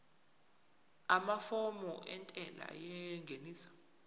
amafomu entela yengeniso